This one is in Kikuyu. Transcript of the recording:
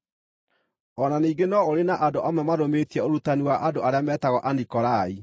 O na ningĩ no ũrĩ na andũ amwe marũmĩtie ũrutani wa andũ arĩa metagwo Anikolai.